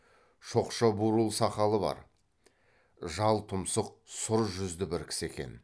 шоқша бурыл сақалы бар жал тұмсық сұр жүзді бір кісі екен